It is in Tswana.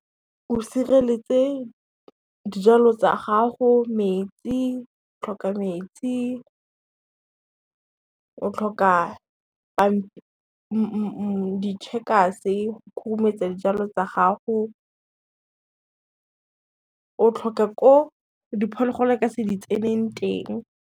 O sireletse dijalo tsa gago, o tlhoka metsi, o tlhoka ditšhekase khurumetsa dijalo tsa gago, o tlhoka ko diphologolo e ka se di tseneng teng.